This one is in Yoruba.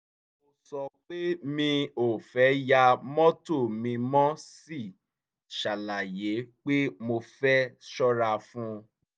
mo sọ pé mi ò fẹ́ yá mọ́tò mi mo sì ṣàlàyé pé mo fẹ́ ṣọ́ra fún un